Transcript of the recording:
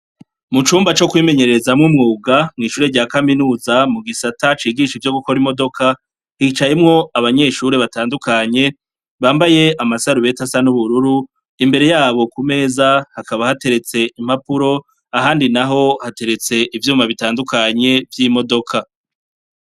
Mucumba co kwimenyerezamwo umwuga mwishure rya kaminuza mugisata cigisha ivyo gukora imodoka hicayemwo abanyeshure batandukanye bambaye amasarubeti asa nubururu imbere yabo kumeza hakaba hateretse impapuro ahandi naho hateretse ivyuma bitandukanye vyimodoka.